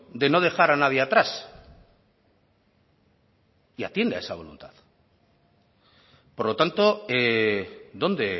de no dejar a nadie atrás y atiende a esa voluntad por lo tanto dónde